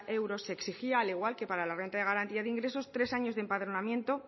euros se exigía al igual que para la renta de garantía de ingresos tres años de empadronamiento